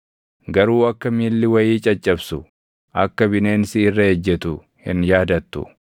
garuu akka miilli wayii caccabsu, akka bineensi irra ejjetu hin yaadattu.